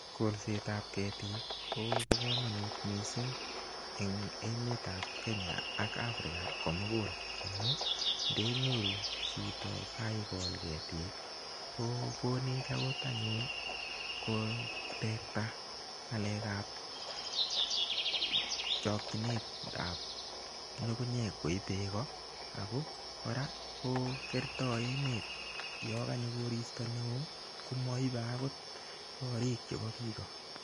Kolsetab ketik ko bo komonut mising eng emetab kenya ak africa komugul. Amun ndenyoru chito kaikol ketik ko konech anyun kotekta ng'alekab chokchinetab nyugunyek koib beeko. Ako kora ko kertoi emen yo kanyo koristo neo komaibei korik chebo biiko.